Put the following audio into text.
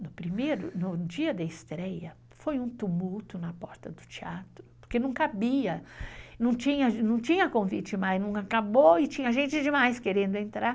No primeiro, no dia da estreia, foi um tumulto na porta do teatro, porque não cabia, não tinha convite mais, não acabou e tinha gente demais querendo entrar.